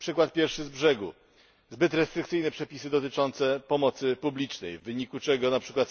Przykład pierwszy z brzegu zbyt restrykcyjne przepisy dotyczące pomocy publicznej, w wyniku czego np.